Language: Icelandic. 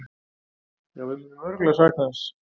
Jú, við munum örugglega sakna hans.